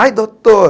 Ai, doutor!